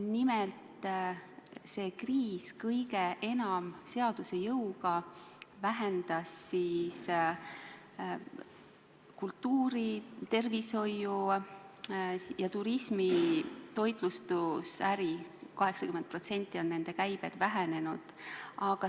Nimelt, see kriis vähendas kõige enam seaduse jõuga kultuuri-, tervishoiu-, turismi- ja toitlustusäri – sealne käive on vähenenud 80%.